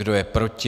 Kdo je proti?